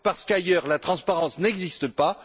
Parce qu'ailleurs, la transparence n'existe pas